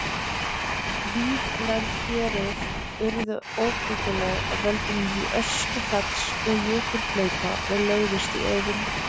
Víðlend héruð urðu óbyggileg af völdum öskufalls og jökulhlaupa og lögðust í auðn.